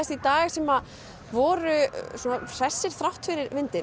í dag sem voru hressir þrátt fyrir vindinn